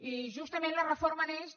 i justament la reforma neix de la